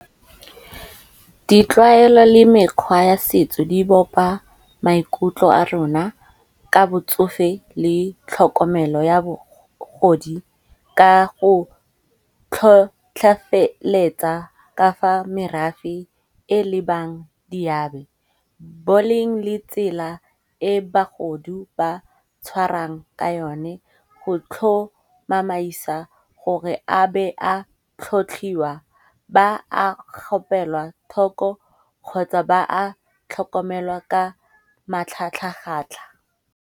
Ditlwaelo le mekgwa ya setso di bopa maikutlo a rona ka botsofe le tlhokomelo ya bagodi, Ka go tlhotlheletsa ka fa merafe e lebang diabe. Boleng le tsela e bagodu ba tshwarang ka yone go tlhomamaisa gore a be a tlhotlhiwa, ba a kgopelwa thoko kgotsa ba a tlhokomelwa ka matlhatlhagatlha.